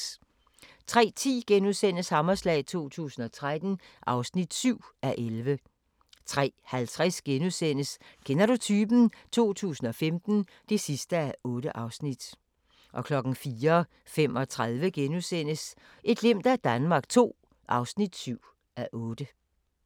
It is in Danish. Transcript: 03:10: Hammerslag 2013 (7:11)* 03:50: Kender du typen? 2015 (8:8)* 04:35: Et glimt af Danmark II (7:8)*